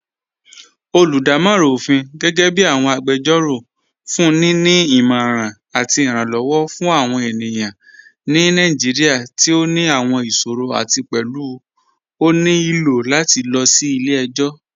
Olúdàmọ̀ran ọ̀fin, gẹgẹbi awọn agbẹ́jọ́rọ̀, fún ni ní ìmọ̀ran àti ìrànlowọ̀ fún awọn ènìyàn ni Naijíríà tí ó ní àwọn ìṣòrọ̀ àti pẹ̀lú ó ní ilò lati lọ sí ilẹ̀-ẹ̀jọ̀.